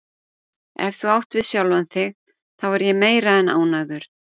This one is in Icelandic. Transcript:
Ef þú átt við sjálfa þig þá er ég meira en ánægður